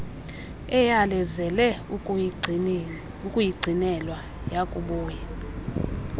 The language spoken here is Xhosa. eyalezele ukuyigcinelwa yakubuya